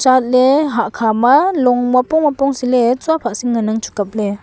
chatley hah khama long muapong muapong saley tsua phah sing ngan angchu kapley.